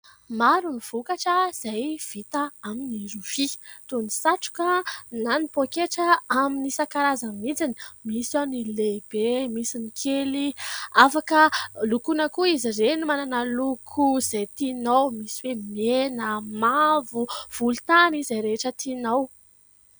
Maro ny vokatra izay vita amin'ny rofia toy ny : satroka na ny poaketra amin'ny isan-karazany mintsiny. Misy ao ny lehibe, misy ny kely ; afaka lokoina koa izy ireny, manana loko izay tinao misy oe : mena, mavo, volontany, ... izay rehetra tinao.